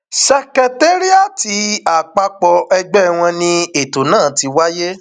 secetariat àpapọ ẹgbẹ wọn ni ètò náà ti wáyé